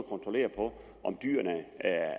kontrollere på om dyrene